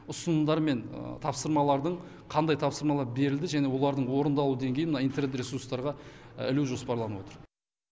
ұсынымдар мен тапсырмалардың қандай тапсырмалар берілді және олардың орындалу деңгейін мына интернет ресурстарға ілу жоспарланып отыр